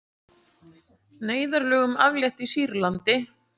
Neyðarlögum aflétt í Sýrlandi